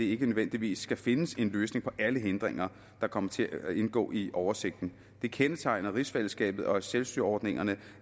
ikke nødvendigvis skal findes en løsning på alle hindringer der kommer til at indgå i oversigten det kendetegner rigsfællesskabet og selvstyreordningerne